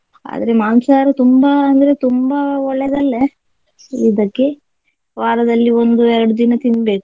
ಆದ್ರೆ ಮಾಂಸಹಾರ ತುಂಬಾ ಅಂದ್ರೆ ತುಂಬಾ ಒಳ್ಳೆದಲ್ಲ ಇದಕ್ಕೆ ವಾರದಲ್ಲಿ ಒಂದು ಎರಡು ದಿನ ತಿನ್ಬೇಕು.